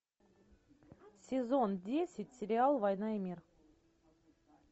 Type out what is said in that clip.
сезон десять сериал война и мир